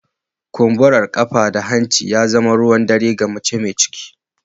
Kumbura ƙafa ko hanci ya zama ruwan dare ga mace mai ciki.